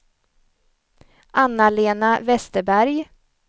Anna-Lena Westerberg